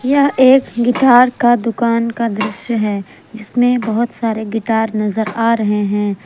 यह एक गिटार का दुकान का दृश्य है जिसमें बहोत सारे गिटार नजर आ रहे हैं।